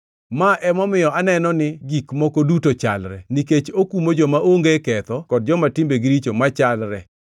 Ma emomiyo aneno ni gik moko duto chalre nikech okumo joma onge ketho kod joma timbegi richo machalre.